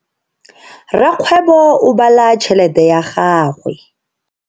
Rakgwebo o bala tšhelete ya gagwe.